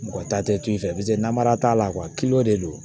Mɔgɔ ta tɛ i fɛ paseke namara t'a la de don